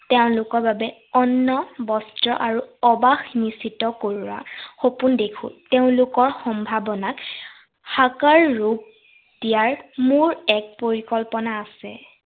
তেওঁলোকৰ বাবে অন্ন বস্ত্ৰ আৰু অবাস নিশ্চিত কৰাৰ সপোন দেখো। তেওঁলোকৰ সম্ভাৱনাক সাকাৰ ৰূপ দিয়াৰ মোৰ এক পৰিকল্পনা আছে।